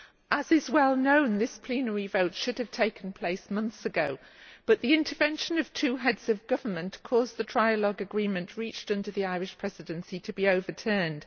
As is well known, this plenary vote should have taken place months ago, but the intervention of two heads of government caused the trialogue agreement reached under the Irish Presidency to be overturned.